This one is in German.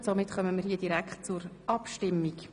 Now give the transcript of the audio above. – Nein, damit können wir auch hier direkt abstimmen.